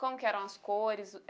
Como que eram as cores?